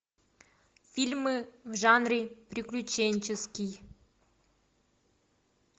фильмы в жанре приключенческий